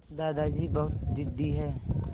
दादाजी बहुत ज़िद्दी हैं